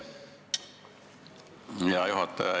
Hea juhataja!